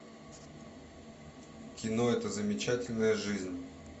кино эта замечательная жизнь